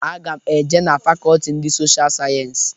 Aga m e je na fakọlti ndị Social Sayensi.